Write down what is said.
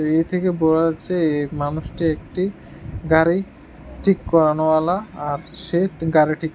এর থেকে বোরা যাচ্ছে এ মানুষটি একটি গাড়ি ঠিক করানেওয়ালা আর সে গাড়ি ঠিক--